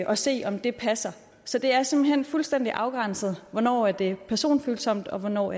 at se om det passer så det er simpelt hen fuldstændig afgrænset hvornår det er personfølsomt og hvornår